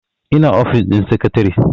ina ofis din sakatare